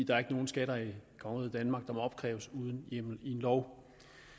er ikke nogen skatter i kongeriget danmark der må opkræves uden hjemmel i en lov